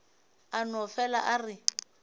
a no fele a re